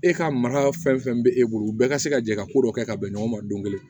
E ka mara fɛn fɛn bɛ e bolo u bɛɛ ka se ka jɛ ka ko dɔ kɛ ka bɛn ɲɔgɔn ma don kelen